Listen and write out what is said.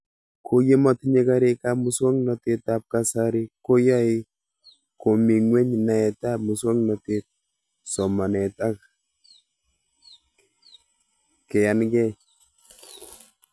KO yemetinye karik ab muswog'natet ab kasari ko yae komii ng'weny naet ab muswognatet , somanet ak keyankei